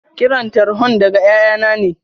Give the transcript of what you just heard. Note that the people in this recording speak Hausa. Kiran tarhon daga ƴaƴanna ne.